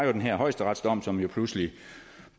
var den her højesteretsdom som pludselig